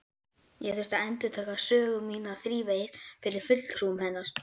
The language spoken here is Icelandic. Ég þurfti að endurtaka sögu mína þrívegis fyrir fulltrúum hennar.